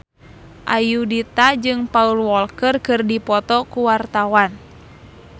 Ayudhita jeung Paul Walker keur dipoto ku wartawan